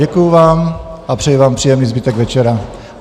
Děkuji vám a přeji vám příjemný zbytek večera.